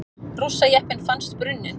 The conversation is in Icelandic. Rússajeppinn fannst brunninn